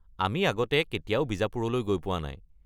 আমি আগতে কেতিয়াও বিজাপুৰলৈ গৈ পোৱা নাই।